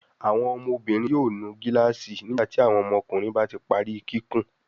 Awọn ọmọbinrin yóò nu gilaasi nígbàtí àwọn ọmọkùnrin bá tí parí kíkún.